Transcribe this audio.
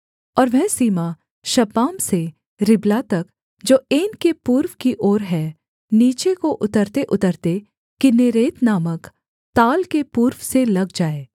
और वह सीमा शपाम से रिबला तक जो ऐन की पूर्व की ओर है नीचे को उतरतेउतरते किन्नेरेत नामक ताल के पूर्व से लग जाए